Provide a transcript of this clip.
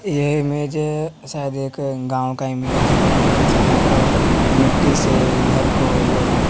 ये इमेज शायद एक गांव का इमेज है जहां पर मिट्टी से घर को जो है--